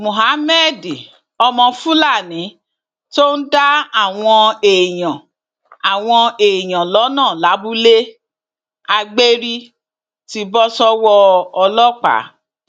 muhammed ọmọ fúlàní tó ń dá àwọn èèyàn àwọn èèyàn lọnà lábúlé agbérí ti bọ sọwọ ọlọpàá